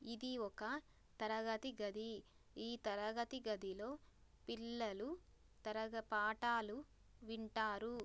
ఇది ఒక తరగతి గది ఈ తరగతి గదిలో పిల్లలు తరగ పాఠాలు వింటారు.